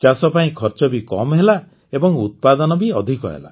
ଚାଷ ପାଇଁ ଖର୍ଚ୍ଚ ବି କମ୍ ହେଲା ଏବଂ ଉତ୍ପାଦନ ବି ଅଧିକ ହେଲା